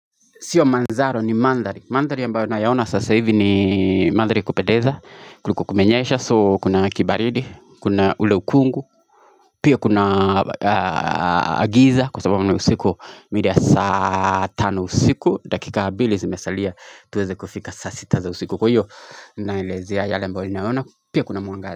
Sio manzaro ni mandhari, mandari ambayo naya ona sasa hivi ni mandhari ya kupedeza kuliko kumenyesha soo kuna kibaridi, kuna uleukungu Pia kuna giza kwa sababu na usiku mida ya saa tano usiku. Dakika bili zimesalia tuweze kufika saa sita za usiku. Kwa hiyo naelezea yale ambayo naona pia kuna mwangari.